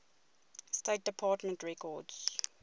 state department records